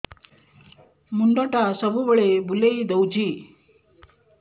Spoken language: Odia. ମୁଣ୍ଡଟା ସବୁବେଳେ ବୁଲେଇ ଦଉଛି